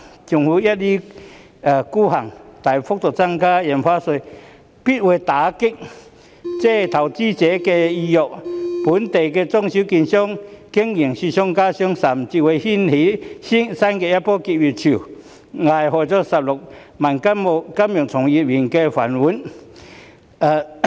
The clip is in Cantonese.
政府一意孤行，大幅增加印花稅，必會打擊投資者的意欲，令本地中小型券商的經營雪上加霜，甚至會掀起新一波結業潮，危害16萬名金融從業員的"飯碗"。